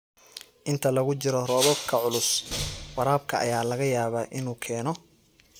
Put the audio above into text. Inta lagu jiro roobabka culus, waraabka ayaa laga yaabaa inuu keeno